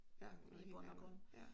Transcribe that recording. Ja noget helt andet ja